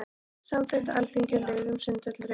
Samþykkt á Alþingi lög um sundhöll í Reykjavík.